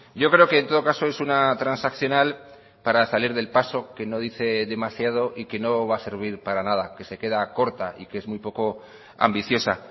yo creo que en todo caso es una transaccional para salir del paso que no dice demasiado y que no va a servir para nada que se queda corta y que es muy poco ambiciosa